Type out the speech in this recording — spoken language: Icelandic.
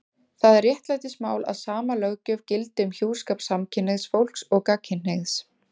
Það er réttlætismál að sama löggjöf gildi um hjúskap samkynhneigðs fólks og gagnkynhneigðs.